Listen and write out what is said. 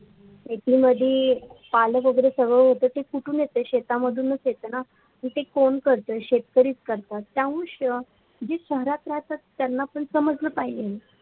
परळ वगेरी सगडे ते येते ते कुढून येते शेतामधून येतेना तर ते कोण करत्ये शेजारीची करतात त्यामुडे जि शहरातमधे रहातात त्यांना पण समजल पाहिजे